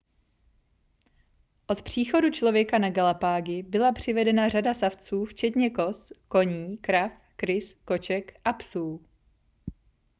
od příchodu člověka na galapágy byla přivedena řada savců včetně koz koní krav krys koček a psů